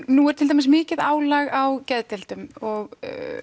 nú er til dæmis mikið álag á geðdeildum og